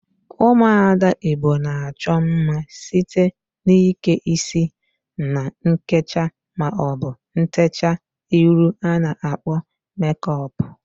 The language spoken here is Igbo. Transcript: Ụmụada Igbo na-achọ mma site n'ike isi na nkecha maọbụ ntecha iru a na-akpọ mekọp.